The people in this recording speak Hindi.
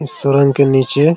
इस सुरंग के नीचे --